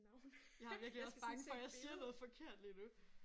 Jeg er virkelig også bange for jeg siger noget forkert lige nu